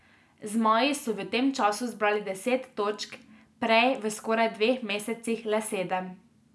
Zmaji so v tem času zbrali deset točk, prej v skoraj dveh mesecih le sedem.